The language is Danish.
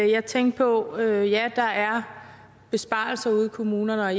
jeg tænkte på at ja der er besparelser ude i kommunerne og